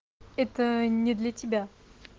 это не для тебя